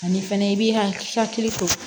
Ani fɛnɛ i b'i hakili to